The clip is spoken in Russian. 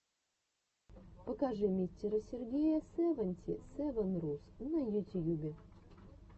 покажи мистера сергея севанти севен рус на ютьюбе